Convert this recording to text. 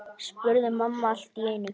spurði mamma allt í einu.